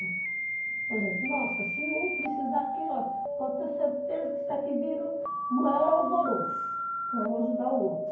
Por exemplo, nossa, se um precisar aqui, ó, pode ter certeza que isso aqui vira o maior alvoroço, para um ajudar o outro.